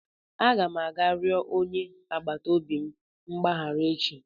Aga m aga rịọ onye agbata obi m mgbaghara echi